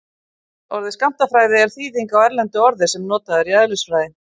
Orðið skammtafræði er þýðing á erlendu orði sem notað er í eðlisfræði.